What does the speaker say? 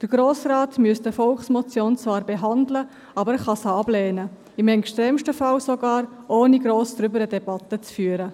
Der Grosse Rat müsste eine Volksmotion zwar behandeln, aber er könnte sie ablehnen, im Extremfall sogar, ohne eine grosse Debatte darüber zu führen.